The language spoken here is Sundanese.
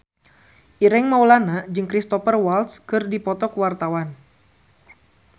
Ireng Maulana jeung Cristhoper Waltz keur dipoto ku wartawan